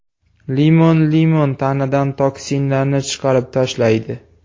Limon Limon tanadan toksinlarni chiqarib tashlaydi.